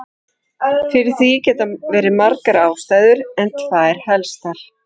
Fyrir því geta verið margar ástæður en tvær helstar.